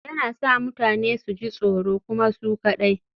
Yana sa mutane su ji tsoro kuma su kaɗai